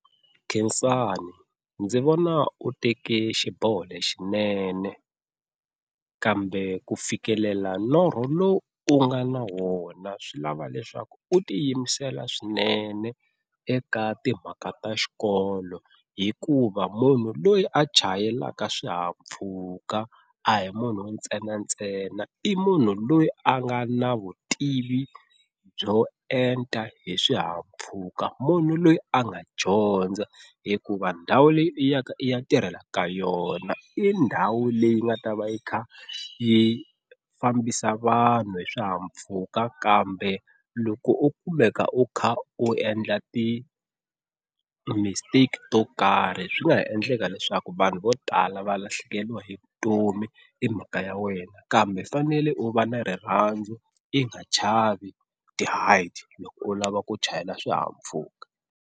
Khensani ndzi vona u teke xiboho lexinene kambe ku fikelela norho lowu u nga na wona swi lava leswaku u ti yimisela swinene eka timhaka ta xikolo, hikuva munhu loyi a chayelaka swihahampfhuka a hi munhu ntsenantsena i munhu loyi a nga na vutivi byo enta hi swihahampfhuka munhu loyi a nga dyondza hikuva ndhawu leyi u yaka i ya tirhela ka yona i ndhawu leyi nga ta va i kha i fambisa vanhu hi swihahampfhuka kambe loko u kumeka u kha u endla ti-mistake to karhi swi nga ha endleka leswaku vanhu vo tala va lahlekeriwa hi vutomi hi mhaka ya wena, kambe u fanele u va na rirhandzu i nga chavi ti-height loko u lava ku chayela swihahampfhuka.